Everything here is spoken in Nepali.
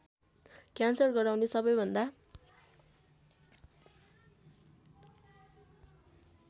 क्यान्सर गराउने सबैभन्दा